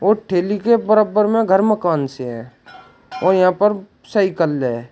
और ठेली के बराबर में घर मकान से है और यहां पर साइकल है।